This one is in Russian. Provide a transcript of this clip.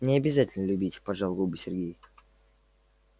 не обязательно любить поджал губы сергей